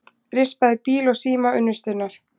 Rispaði bíl og síma unnustunnar